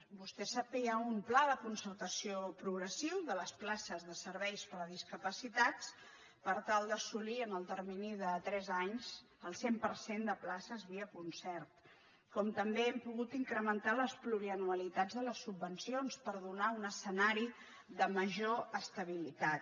vostè sap que hi ha un pla de concertació progressiu de les places de serveis per a discapacitats per tal d’assolir en el termini de tres anys el cent per cent de places via concert com també hem pogut incrementar les plurianualitats de les subvencions per donar un escenari de major estabili·tat